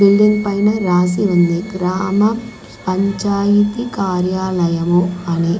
building పైన రాసి ఉంది రామ పంచాయితీ కార్యాలయము అని --